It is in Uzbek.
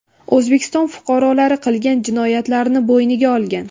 O‘zbekiston fuqarolari qilgan jinoyatlarini bo‘yniga olgan.